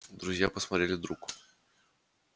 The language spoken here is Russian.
друзья посмотрели друг